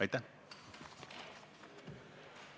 Aitäh!